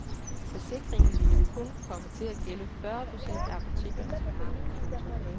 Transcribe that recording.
Forsikringen ville kun komme til at gælde fyrre procent af apotekernes varer. punktum